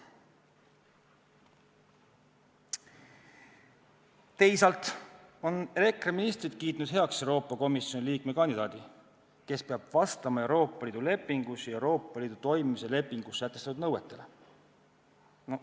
Teisalt on EKRE ministrid kiitnud heaks Euroopa Komisjoni liikme kandidaadi, kes peab vastama Euroopa Liidu lepingus ja Euroopa Liidu toimimise lepingus sätestatud nõuetele.